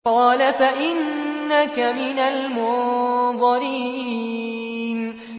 قَالَ فَإِنَّكَ مِنَ الْمُنظَرِينَ